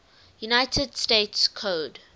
united states code